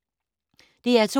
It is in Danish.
DR2